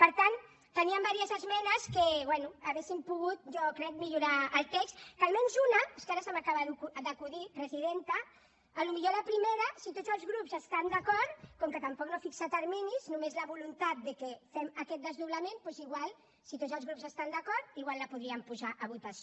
per tant teníem diverses esmenes que bé haurien pogut jo crec millorar el text que és que ara se m’acaba d’acudir presidenta potser la primera si tots els grups hi estan d’acord com que tampoc no fixa terminis només la voluntat que fem aquest desdoblament doncs si tots els grups hi estan d’acord la podríem posar a votació